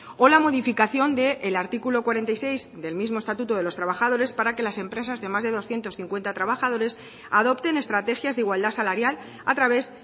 o la modificación del artículo cuarenta y seis del mismo estatuto de los trabajadores para que las empresas de más de doscientos cincuenta trabajadores adopten estrategias de igualdad salarial a través